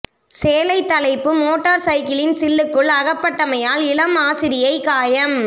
சேலைத் தலைப்பு மோட்டார் சைக்கிளின் சில்லுக்குள் அகப்பட்டமையால் இளம் ஆசிரியை காயம்